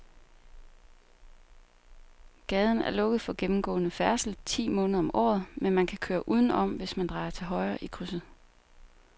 Gaden er lukket for gennemgående færdsel ti måneder om året, men man kan køre udenom, hvis man drejer til højre i krydset.